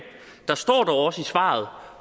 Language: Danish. der står dog faktisk også i svaret